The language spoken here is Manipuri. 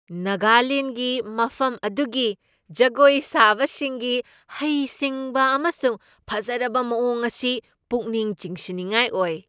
ꯅꯥꯒꯥꯂꯦꯟ꯭ꯗꯒꯤ ꯃꯐꯝ ꯑꯗꯨꯒꯤ ꯖꯒꯣꯏ ꯁꯥꯕꯁꯤꯡꯒꯤ ꯍꯩꯁꯤꯡꯕ ꯑꯃꯁꯨꯡ ꯐꯖꯔꯕ ꯃꯑꯣꯡ ꯑꯁꯤ ꯄꯨꯛꯅꯤꯡ ꯆꯤꯡꯁꯤꯟꯅꯤꯡꯉꯥꯏ ꯑꯣꯏ꯫